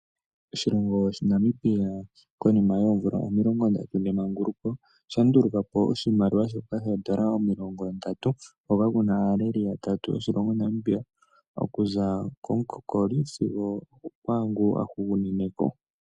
Oshilongo shaNamibia konima yoomvula omilongo ndatu dhemanguluko osha nduluka po oshimaliwa shoka shoondola omilongo ndatu hoka kuna aaleli yatatu yaNamibia okuza komukokoli sigo okwaangu a hugunine ko.